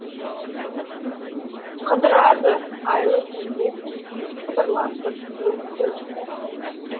қыдырады айлы түнде сыбырласып өзді өзі